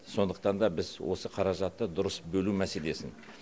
сондықтан да біз осы қаражатты дұрыс бөлу мәселесін